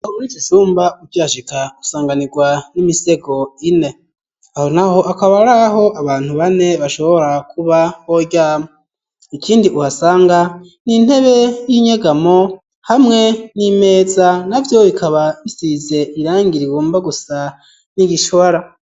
Muri ikicumba ukihashika, usanganirwa n'imisego ine, aho naho akaba ari aho abantu bane bashobora kuba boryama ikindi uhasanga mw'intebe y'inyegamo ,hamwe n'imeza na vyo bikaba bisize irangi rigomba gusa n'igishora.